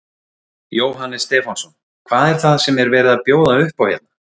Jóhannes Stefánsson: Hvað er það sem er verið að bjóða upp á hérna?